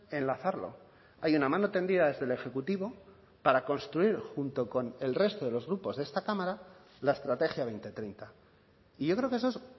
enlazarlo hay una mano tendida desde el ejecutivo para construir junto con el resto de los grupos de esta cámara la estrategia dos mil treinta y yo creo que eso es